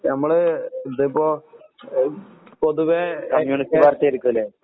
ഞമ്മള് ഇതിപ്പോ പൊതുവെ